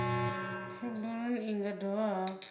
cbnrm i nga dovha hafhu